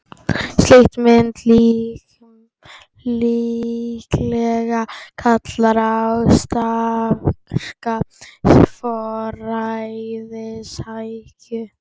Slíkt myndi líklega kalla á of sterka forræðishyggju.